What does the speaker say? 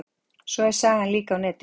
Svo er sagan líka á netinu.